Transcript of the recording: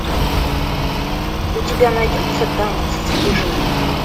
у тебя найдется танец вспышка